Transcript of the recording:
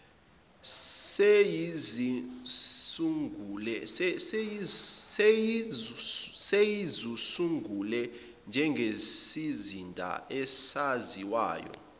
seyizisungule njengesizinda esaziwayo